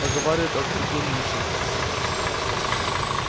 поговаривают от суде линча